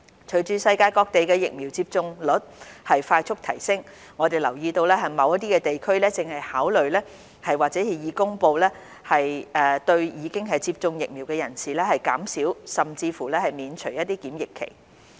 隨着世界各地的疫苗接種率快速提升，我們留意到某些地區正考慮或已公布對已接種疫苗的人士減少甚至免除檢疫期。